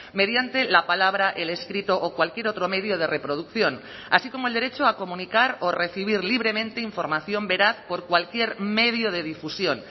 mediante la palabra el escrito o cualquier otro medio de reproducción así como el derecho a comunicar o recibir libremente información veraz por cualquier medio de difusión